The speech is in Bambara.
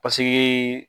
Paseke